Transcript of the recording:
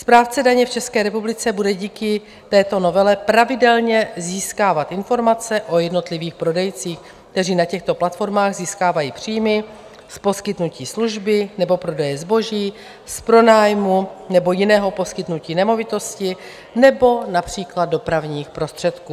Správce daně v České republice bude díky této novele pravidelně získávat informace o jednotlivých prodejcích, kteří na těchto platformách získávají příjmy z poskytnutí služby nebo prodeje zboží, z pronájmu nebo jiného poskytnutí nemovitosti nebo například dopravních prostředků.